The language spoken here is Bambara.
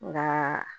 Nka